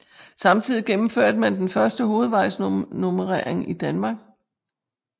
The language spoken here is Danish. Samtidig gennemførte man den første hovedvejsnummerering i Danmark